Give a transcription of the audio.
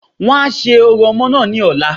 Wọ́n a se orò omoo náà ní ọ̀la